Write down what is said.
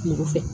Kungo fɛ